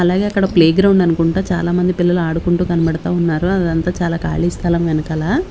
అలాగే అక్కడ playground అనుకుంటా చాలామంది పిల్లలు ఆడుకుంటూ కనబడతా ఉన్నారు అదంతా చాలా ఖాళీ స్థలం వెనకాల.